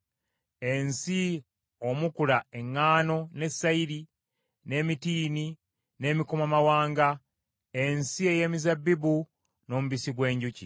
Ensi omukula eŋŋaano ne sayiri, n’emitiini n’emikomamawanga, ensi ey’emizabbibu n’omubisi gw’enjuki;